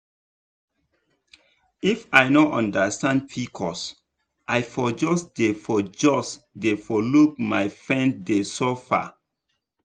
if i no understand pcos i for just dey for just dey look my friend dey suffer.